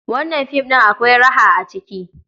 Wannan film ɗin akwai raha a ciki.